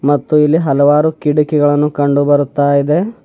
ಮತ್ತು ಇಲ್ಲಿ ಹಲವಾರು ಕಿಡಕಿಗಳನ್ನು ಕಂಡು ಬರುತ್ತಾ ಇದೆ.